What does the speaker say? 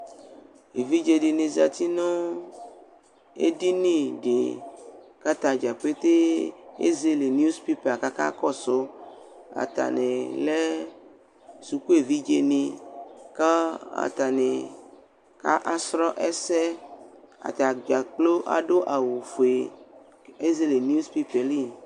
Evidze dɩnɩ zati nʋ edini dɩ k'atadza petee ezele (news)pepa k'aka kɔsʋ Atanɩ lɛ suku evidzenɩ: k'a atanɩ ka asɔlɔ ɛsɛ atadza kplo adʋ awʋfue , k'ezele (news )pepaɛ lɛ